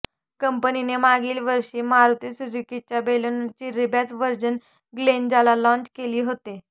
कंपनीने मागील वर्षी मारुती सुझुकीच्या बलेनोचे रीबॅज व्हर्जन ग्लेंजाला लाँच केले होते